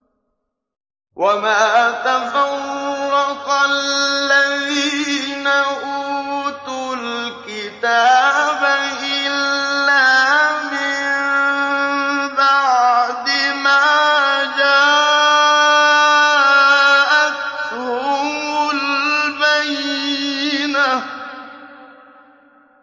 وَمَا تَفَرَّقَ الَّذِينَ أُوتُوا الْكِتَابَ إِلَّا مِن بَعْدِ مَا جَاءَتْهُمُ الْبَيِّنَةُ